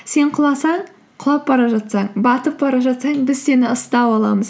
сен құласаң құлап бара жатсаң батып бара жатсаң біз сені ұстап аламыз